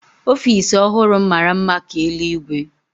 Ofiisi ọhụrụ m mara mma ka eluigwe